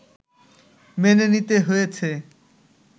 মেনে নিতে হয়েছে